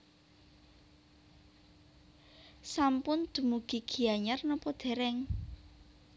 Sampun dumugi Gianyar nopo dereng